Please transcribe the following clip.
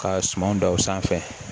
Ka sumanw dan o sanfɛ